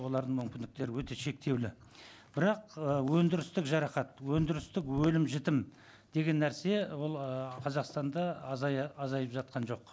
олардың мүмкіндіктері өте шектеулі бірақ ы өндірістік жарақат өндірістік өлім жітім деген нәрсе ол ы қазақстанда азайып жатқан жоқ